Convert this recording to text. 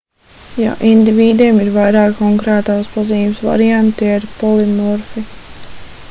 ja indivīdiem ir vairāki konkrētās pazīmes varianti tie ir polimorfi